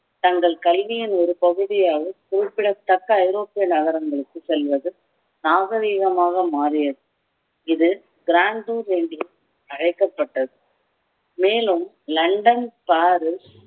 தங்கள் கல்வியின் ஒரு பகுதியாவது குறிப்பிடத்தக்க ஐரோப்பிய நகரங்களுக்கு செல்வது நாகரிகமாக மாறியது இது என்று அழைக்கப்பட்டது மேலும் லண்டன் பாரிஸ்